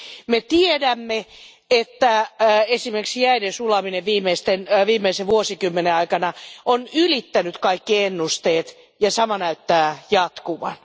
Me tiedämme, että esimerkiksi jäiden sulaminen viimeisen vuosikymmenen aikana on ylittänyt kaikki ennusteet, ja sama näyttää jatkuvan.